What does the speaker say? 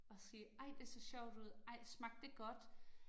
Og sige, ej det så sjovt ud, ej smagte det godt